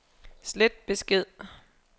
slet besked